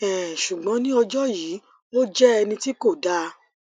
um ṣùgbọn ní ọjọ yìí ó jẹ ẹni tí kò dáa